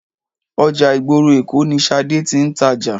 Ọjà ìgboro Èkó ni Ṣadé tí ń tàjà.